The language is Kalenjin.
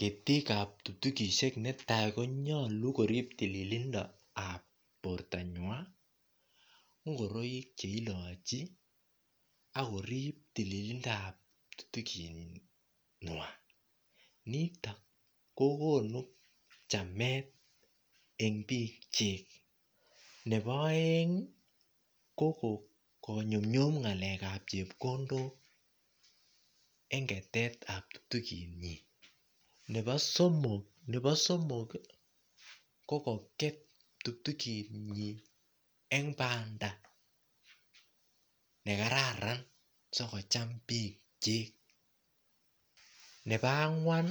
Ketikab ptuktukishek netai konyolu korip tililindoab bortonywai ngoroik cheilochi akorip tililindoab ptuktuking'wai nito kokonu chamet eng' biik chik nebo oeng' ko konyumyum ng'alekab chepkondok eng' ketetab ptuktukitnyi nebo somok ko kokoet ptuktukitnyi eng' banda nekararan sikocham biik chik nebo ang'wan